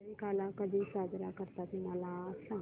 दहिकाला कधी साजरा करतात मला सांग